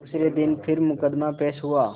दूसरे दिन फिर मुकदमा पेश हुआ